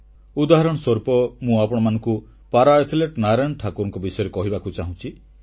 ଉଦାହରଣ ସ୍ୱରୂପ ମୁଁ ଆପଣମାନଙ୍କୁ ପାରା ଆଥଲେଟ ନାରାୟଣ ଠାକୁରଙ୍କ ବିଷୟରେ କହିବାକୁ ଚାହୁଁଛି